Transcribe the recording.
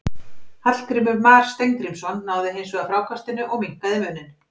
Hallgrímur Mar Steingrímsson náði hins vegar frákastinu og minnkaði muninn.